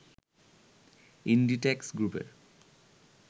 Inditex গ্রুপের